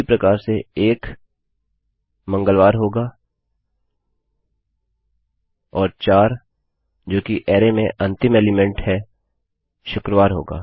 उसी प्रकार से एक मंगलवार होगा और चार जो कि अरैमें अंतिम एलीमेंट हैशुक्रवार होगा